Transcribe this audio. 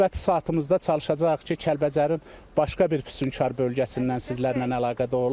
Növbəti saatımızda çalışacağıq ki, Kəlbəcərin başqa bir füsunkar bölgəsindən sizlərlə əlaqədə olaq.